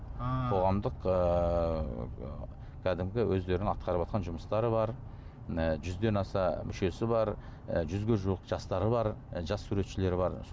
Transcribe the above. ы қоғамдық ыыы кәдімгі өздерінің атқарыватқан жұмыстары бар ы жүзден аса мүшесі бар і жүзге жуық жастары бар і жас суретшілері бар